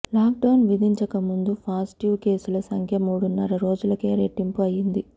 lockdown విధించక ముందు positive కేసుల సంఖ్య మూడున్నర రోజులకే రెట్టింపు అయ్యింది